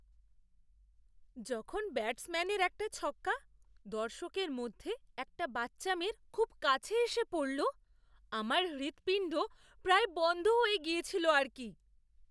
যখন ব্যাটসম্যানের একটা ছক্কা দর্শকদের মধ্যে একটা বাচ্চা মেয়ের খুব কাছে এসে পড়ল আমার হৃৎপিণ্ড প্রায় বন্ধ হয়ে গিয়েছিল আর কি।